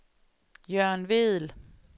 Jørgen Vedel